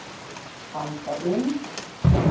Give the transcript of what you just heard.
Anda inn.